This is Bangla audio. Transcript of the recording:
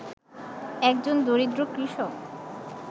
একজন দরিদ্র কৃষক